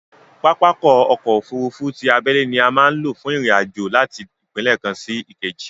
Pápákọ̀ ọ̀kọ òfurufú ti abẹ́lé ni a má ń lò fún ìrìn àjò láti ìpínlẹ̀ kan sí ìkejì